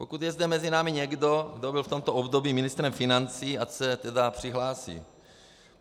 Pokud je zde mezi námi někdo, kdo byl v tomto období ministrem financí, ať se tedy přihlásí.